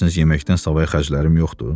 Elə bilirsiz yeməkdən savayı xərclərim yoxdur?